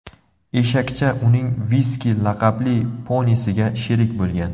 Eshakcha uning Viski laqabli ponisiga sherik bo‘lgan.